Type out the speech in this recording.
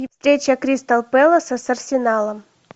встреча кристал пэласа с арсеналом